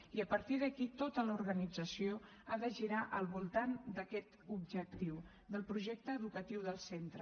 i a partir d’aquí tota l’organització ha de girar al voltant d’aquest objectiu del projecte educatiu del centre